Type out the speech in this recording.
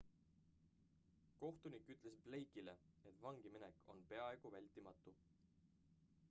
kohtunik ütles blake'ile et vangiminek on peaaegu vältimatu